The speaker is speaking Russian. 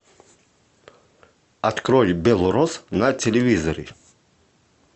открой белрос на телевизоре